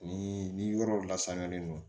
Ni ni yɔrɔ lasaniyalen don